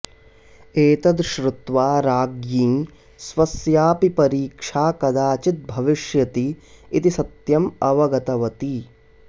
एतद् श्रुत्वा राज्ञी स्वस्यापि परीक्षा कदाचित् भविष्यति इति सत्यम् अवगतवती